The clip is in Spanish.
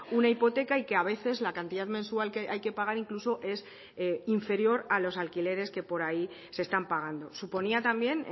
una hipoteca y que a veces la cantidad mensual que hay que pagar incluso es inferior a los alquileres que por ahí se están pagando suponía también